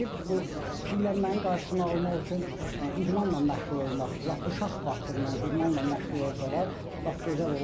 Bir də ki, bu piyələnmənin qarşısını almaq üçün idmanla məşğul olmaq, lap uşaq vaxtından idmanla məşğul olsalar, lap gözəl olar.